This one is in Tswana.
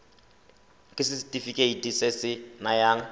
ke setefikeiti se se nayang